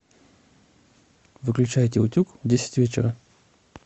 выключайте утюг в десять вечера